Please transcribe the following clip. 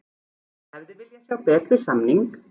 Hefði viljað sjá betri samning